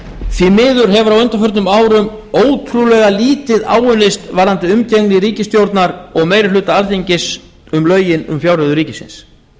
því miður hefur á undanförnum árum ótrúlega lítið áunnist varðandi umgengni ríkisstjórnar og meiri hluta alþingis um lögin um fjárreiður ríkisins